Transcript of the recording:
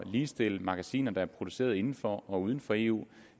ligestille magasiner der er produceret inden for og uden for eu